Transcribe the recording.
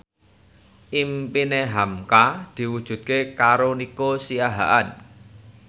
impine hamka diwujudke karo Nico Siahaan